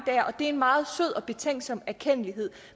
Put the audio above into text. det er en meget sød og betænksom erkendtlighed